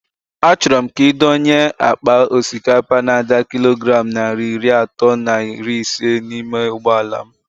A chọrọ m ka ị dọnye àkpà osikapa n'ada kilogram narị iri atọ na iri isé n'ime ụgbọala m